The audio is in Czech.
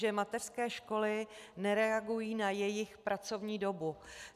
Že mateřské školy nereagují na jejich pracovní dobu.